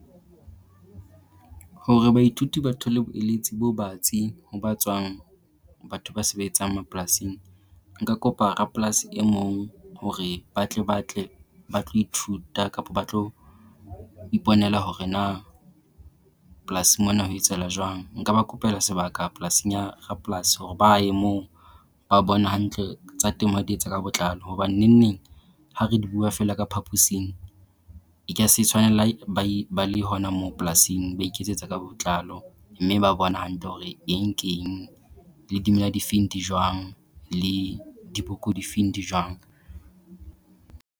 Hore baithuti ba thole bo eletsi bo batsi ho ba tswang batho ba sebetsang mapolasing, nka kopa rapolasi e mong hore ba tle ba tle ba tlo ithuta kapo ba tlo iponela hore na polasing mona ho etsahala jwang. Nka ba kopeloa sebaka polasing ya rapolasi hore ba ye moo ba bone hantle tsa temo ha di etsa ka botlalo. Hoba nenneng ha re di bua feela ka phaposing e ka se tshwane le hai ba e ba le hona moo polasing ba iketsetsa ka botlalo, mme ba bona hantle hore eng keng le dimela difeng di jwang le diboko difeng di jwang.